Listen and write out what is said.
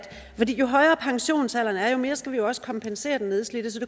jo højere pensionsalderen er jo mere skal vi jo også kompensere den nedslidte så det